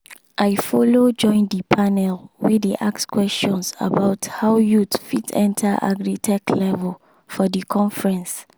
i follow join the panel wey dey ask questions about how youth fit enter agritech level for the conference.